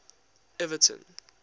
everton